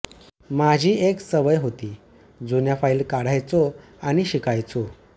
माझी एक सवय होती जुन्या फाईली काढायचो आणि शिकायचो